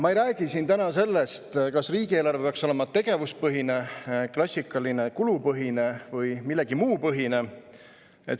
Ma ei räägi siin täna sellest, kas riigieelarve peaks olema tegevuspõhine, klassikaline kulupõhine või millegi muu põhine.